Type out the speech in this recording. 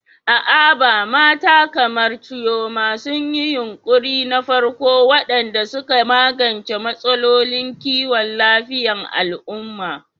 A Aba, mata kamar Chioma sun yi yunƙuri na farko waɗanda suka magance matsalolin kiwon lafiyar al'umma.